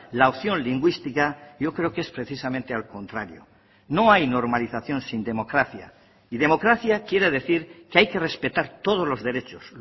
la opción lingüística yo creo que es precisamente al contrario no hay normalización sin democracia y democracia quiere decir que hay que respetar todos los derechos